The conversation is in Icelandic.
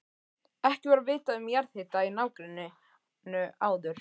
Ekki var vitað um jarðhita í nágrenninu áður.